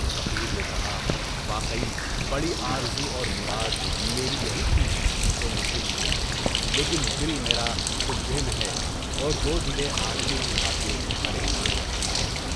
فقیر نے کہا، واقعی بڑی آرزو تھی۔ میری یہی تھی، سو مجھے یہی ملی، لیکن دل میرا ڈوب دے میں ہے۔ اور دودھ لے آنے کی خاطر پریشان رہتی ہے۔